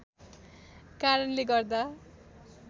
कारणले गर्दा